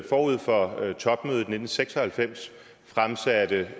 forud for topmødet i nitten seks og halvfems fremsatte